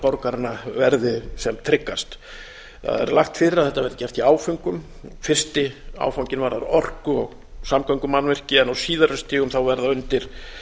borgaranna verði sem tryggast það er lagt fyrir að þetta verði gert í áföngum fyrsti áfanginn varðar orku og samgöngumannvirki en á síðari stigum verða undir